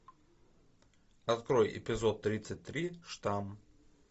открой эпизод тридцать три штамм